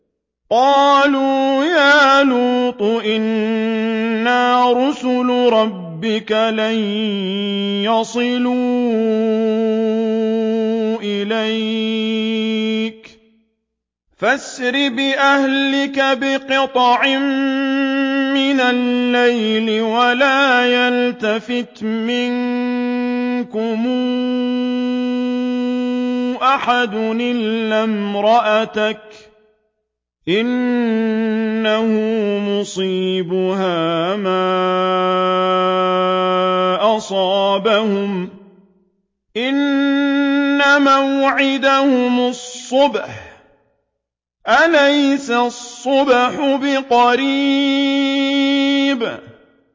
قَالُوا يَا لُوطُ إِنَّا رُسُلُ رَبِّكَ لَن يَصِلُوا إِلَيْكَ ۖ فَأَسْرِ بِأَهْلِكَ بِقِطْعٍ مِّنَ اللَّيْلِ وَلَا يَلْتَفِتْ مِنكُمْ أَحَدٌ إِلَّا امْرَأَتَكَ ۖ إِنَّهُ مُصِيبُهَا مَا أَصَابَهُمْ ۚ إِنَّ مَوْعِدَهُمُ الصُّبْحُ ۚ أَلَيْسَ الصُّبْحُ بِقَرِيبٍ